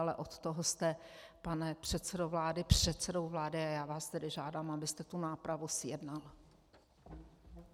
Ale od toho jste, pane předsedo vlády, předsedou vlády, a já vás tedy žádám, abyste tu nápravu zjednal.